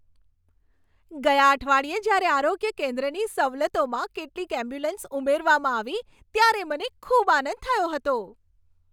ગયા અઠવાડિયે જ્યારે આરોગ્ય કેન્દ્રની સવલતોમાં કેટલીક એમ્બ્યુલન્સ ઉમેરવામાં આવી ત્યારે મને ખૂબ આનંદ થયો હતો.